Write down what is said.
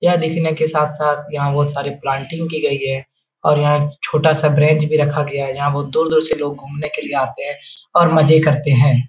यह देखने के साथ-साथ यहाँ बहुत सारे प्लाटिंग की गई है और यहाँ छोटा सा ब्रेंच भी रखा गया है जहाँ बहुत दूर-दूर से लोग घूमने के लिए आते हैं और मजे करते है।